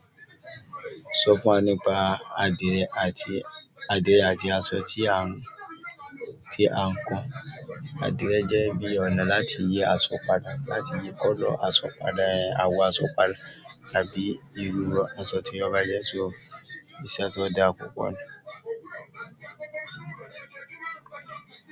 Sọ fún wa nípa adire àti aṣọ tí à ń, tí à ń kùn. Adire jẹ́ bí ọ̀nà láti yí aṣọ padà, láti yí àwọ̀ aṣọ padà tàbí irú aṣọ tí o ba jẹ iṣẹ́ tó da púpọ̀ ni.